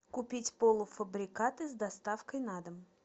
купить полуфабрикаты с доставкой на дом